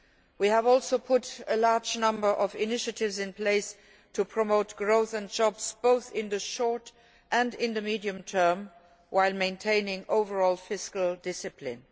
We have also put a large number of initiatives in place to promote growth and jobs, both in the short and in the medium term, while maintaining overall fiscal discipline.